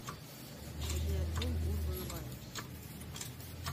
найди альбом урбан вайбс